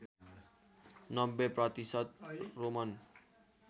९० प्रतिशत रोमन